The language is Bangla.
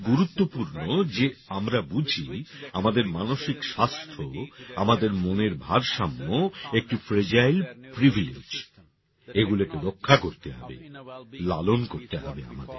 এটা খুব গুরুত্বপূর্ণ যে আমরা বুঝি যে আমাদের মানসিক স্বাস্থ্য আমাদের মনের ভারসাম্য একটি ফ্রেজাইল প্রিভিলেজ এগুলোকে রক্ষা করতে হবে লালন করতে হবে আমাদের